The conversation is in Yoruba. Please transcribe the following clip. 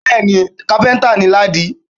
Bẹ́ẹ̀ni, kápẹ́ńtà ni Ládi.